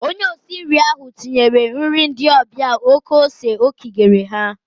Onye osi nri ahụ tinyere nri ndị ọbịa oké ose o kigere ha.